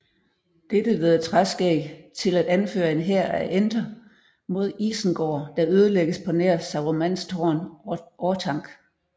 Dette leder Træskæg til at anføre en hær af enter mod Isengard der ødelægges på nær Sarumans tårn Orthanc